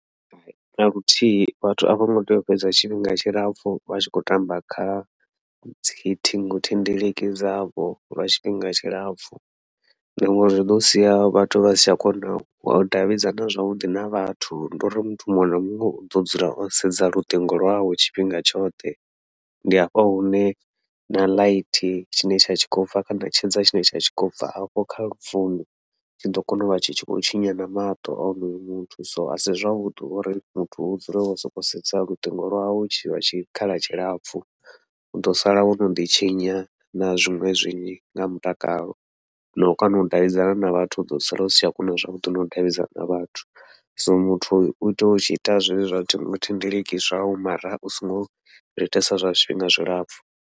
Hai naluthihi vhathu a vhongo tea u fhedza tshifhinga tshilapfhu vha tshi khou tamba kha dzi ṱhingothendeleki dzavho lwa tshifhinga tshilapfhu, na ngauri zwi ḓo sia vhathu vha si tsha kona u davhidzana zwavhuḓi na vhathu ndi uri muthu muṅwe na muṅwe uḓo dzula o sedza luṱingo lwawe tshifhinga tshoṱhe, ndi hafha hune na light tshine tsha tshi khou bva kana tshedza tshine tsha tshi khou bva afho kha lu founu I tshiḓo kona uvha tshi khou tshinya na maṱo a onoyo muthu. So asi zwavhuḓi uri muthu u dzule wo sokou sedza luṱingo lwau tshi lwa tshikhala tshilapfhu, uḓo sala wo noḓi tshinya na zwiṅwe zwinzhi nga mutakalo, nau kona u davhidzana na vhathu uḓo sala usi tsha kona zwavhuḓi nau davhidzana na vhathu, so muthu utea uita zwezwi zwa ṱhingothendeleki zwau mara u songo zwi itesa zwa zwifhinga zwilapfhu.